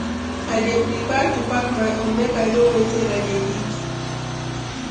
i dey prefer to pack my own, make i know wetin i dey eat.